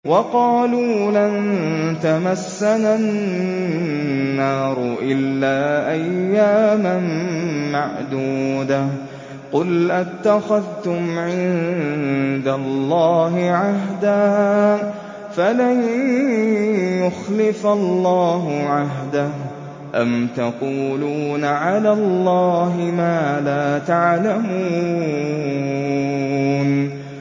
وَقَالُوا لَن تَمَسَّنَا النَّارُ إِلَّا أَيَّامًا مَّعْدُودَةً ۚ قُلْ أَتَّخَذْتُمْ عِندَ اللَّهِ عَهْدًا فَلَن يُخْلِفَ اللَّهُ عَهْدَهُ ۖ أَمْ تَقُولُونَ عَلَى اللَّهِ مَا لَا تَعْلَمُونَ